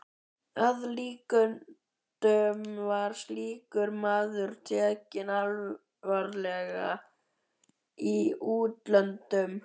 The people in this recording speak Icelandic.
Að líkindum var slíkur maður tekinn alvarlega í útlöndum.